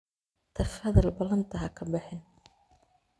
Tafadhal balanta xakabixin.